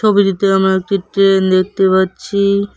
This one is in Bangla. ছবিতিতে আমরা একটি ট্রেন দেখতে পাচ্ছি।